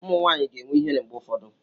Ụmụ nwanyị ga-enwe ihere mgbe ụfọdụ.